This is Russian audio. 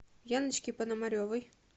яночке пономаревой